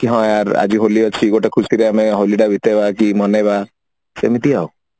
କି ହଁ ୟାର ଆଜି ହୋଲି ଅଛି ଗୋଟେ ଖୁସିରେ ଆମେ ହୋଲିଟା ବିତେଇବା ଆଜି ମନେଇବା ସେମିତି ଆଉ